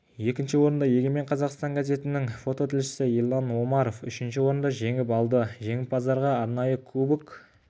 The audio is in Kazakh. екінші орынды егемен қазақстан газетінің фототілшісі ерлан омаров үшінші орынды жеңіп алды жеңімпаздарға арнайы кубок